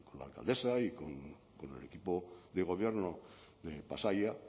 la alcaldesa y con el equipo de gobierno de pasaia